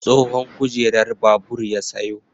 Tsohon kujerar babur ya sayo.